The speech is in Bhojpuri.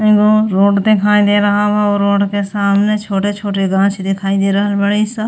एगो रोड दिखाई दे रहल बा। ओ रोड के सामने छोटे छोटे गाछ दिखाई दे रहल बाड़ी स।